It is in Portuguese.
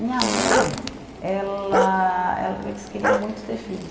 Minha mãe, ela ela eles queriam muito ter filhos.